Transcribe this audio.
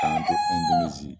k'an to Ɛndonozi